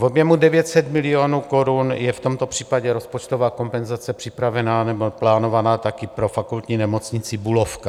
V objemu 900 milionů korun je v tomto případě rozpočtová kompenzace připravená nebo plánovaná taky pro Fakultní nemocnici Bulovka.